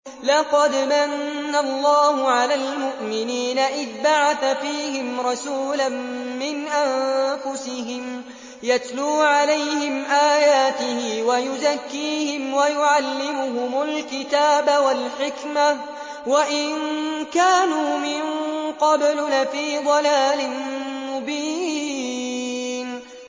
لَقَدْ مَنَّ اللَّهُ عَلَى الْمُؤْمِنِينَ إِذْ بَعَثَ فِيهِمْ رَسُولًا مِّنْ أَنفُسِهِمْ يَتْلُو عَلَيْهِمْ آيَاتِهِ وَيُزَكِّيهِمْ وَيُعَلِّمُهُمُ الْكِتَابَ وَالْحِكْمَةَ وَإِن كَانُوا مِن قَبْلُ لَفِي ضَلَالٍ مُّبِينٍ